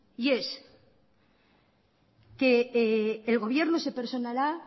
y es que el gobierno se personará